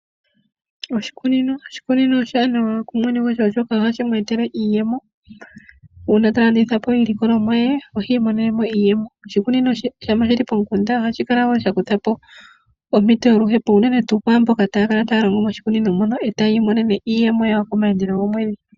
Oshikunino. Oshikunino oshiwanawa kumwene gwasho oshoka ohashi mweetele iiyemo uuna ta landitha po iilikolomwa ye ohi imonene mo iiyemo. Oshikunino ngele shili pomukunda ohashi kala wo sha kutha po ompito yoluhepo. Unene tuu kwaamboka taya kala taya longo moshikunino mono eta ya imonene iiyemo yawo komaandelo gomwedhi.